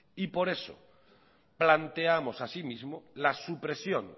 por eso planteamos asimismo la supresión